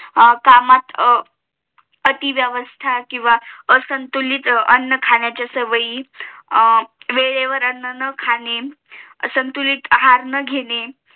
कामात अती व्यवस्था किंवा असंतुलित अन्न खाण्याच्या सवई वेळेवर अण्णा न खाणे असंतुलित आहार न घेणे